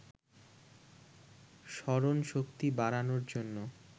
স্মরণশক্তি বাড়ানোর জন্য